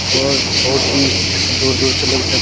और बहुत ही दूर-दूर से लोग इसमें --